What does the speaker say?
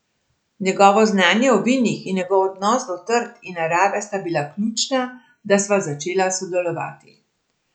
Njegovo znanje o vinih in njegov odnos do trt in narave sta bila ključna, da sva začela sodelovati.